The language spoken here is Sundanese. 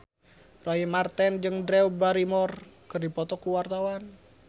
Roy Marten jeung Drew Barrymore keur dipoto ku wartawan